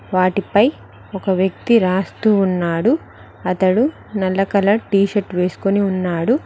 వాటి పై ఒక వ్యక్తి రాస్తూ ఉన్నాడు అతడు నల్ల కలర్ టీషర్టు వేసుకొని ఉన్నాడు.